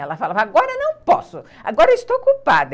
Ela falava, agora não posso, agora estou ocupada.